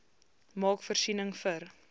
maak voorsiening vir